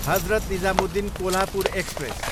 Hazrat Nizamuddin, Kolhapur express